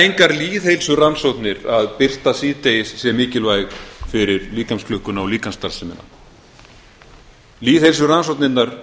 engar lýðheilsurannsóknir að birta síðdegis sé mikilvæg fyrir líkamsklukkuna og líkamsstarfsemina lýðheilsurannsóknirnar lífefnafræðilegu rannsóknirnar